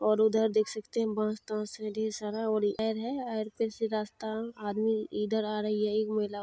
और उधर देख सकते हैं बहोत बांस तांश है ढेर सारा और आयर है पे से रास्ता आदमी इधर आ रही है एक महिला --